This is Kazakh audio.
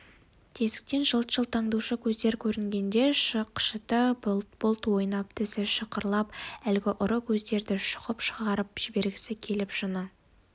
тесіктен жылт-жылт аңдушы көздер көрінгенде шықшыты бұлт-бұлт ойнап тісі шықырлап әлгі ұры көздерді шұқып шығарып жібергісі келіп жыны